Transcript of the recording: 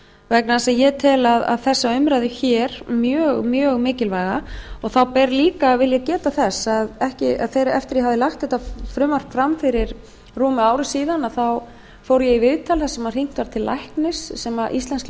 vegna þess að ég tel þessa umræðu hér mjög mjög mikilvæga þá vil ég geta þess að eftir að ég hafði lagt þetta frumvarp fram fyrir rúmu ári síðan fór ég í viðtal þar sem hringt var til íslensks